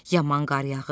yaman qar yağıb,